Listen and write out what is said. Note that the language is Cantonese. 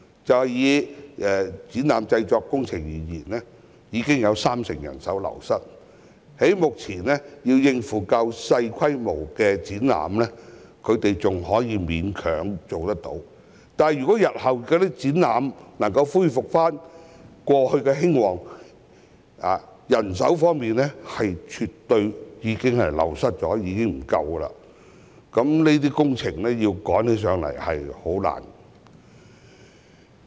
就以展覽製作工程業而言，已有三成人手流失，目前，較小規模的展覽，他們仍能勉強應付，但若日後展覽業務能回復過往的興旺情況，人手卻因流失而不足，那麼，趕急的工程便不容易處理。